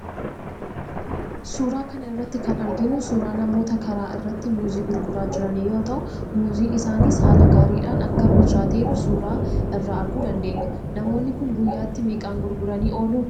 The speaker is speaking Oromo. Suuraa kana irratti kan arginu suuraa namoota karaa irratti muuzii gurguraa jiranii yoo ta'u, muuziin isaaniis haala gaariidhaan akka bilchaateeru suuraa irraa arguu dandeenya. Namoonni kun guyyaatti meeqaan gurguranii oolu?